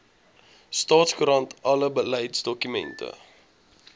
staatskoerant alle beleidsdokumente